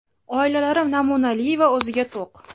oilalari namunali va o‘ziga to‘q.